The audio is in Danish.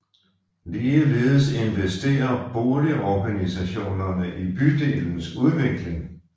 Ligeledes investerer boligorganisationerne i bydelens udvikling